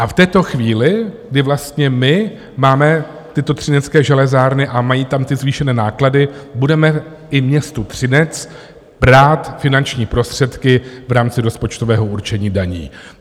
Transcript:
A v této chvíli, kdy vlastně my máme tyto Třinecké železárny a mají tam ty zvýšené náklady, budeme i městu Třinec brát finanční prostředky v rámci rozpočtového určení daní.